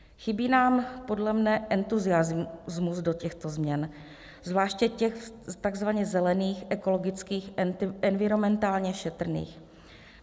Chybí nám podle mě entuziasmus do těchto změn, zvláště těch tzv. zelených, ekologických, environmentálně šetrných.